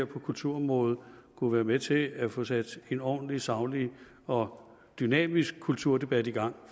på kulturområdet kunne være med til at få sat en ordentlig saglig og dynamisk kulturdebat i gang